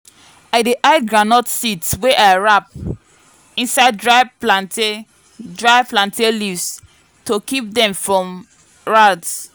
i dey hide groundnut seeds wey i wrap inside dry plantain dry plantain leaves to keep them from rats.